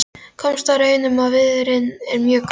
Komst að raun um að viðurinn er mjög góður.